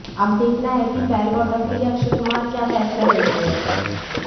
अब देखना है कि बेल बॉटम के लिए अक्षय कुमार क्या फैसला लेते हैं